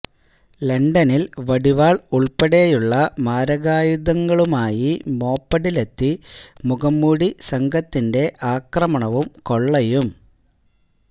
ലണ്ടനിൽ വടിവാൾ ഉൾപ്പെടെയുള്ള മാരകായുധങ്ങളുമായി മോപ്പഡിലെത്തി മുഖംമൂടി സംഘത്തിന്റെ ആക്രമണവും കൊള്ളയും